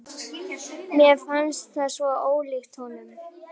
Mér fannst það svo ólíkt honum.